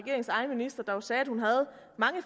og sagde at hun havde mange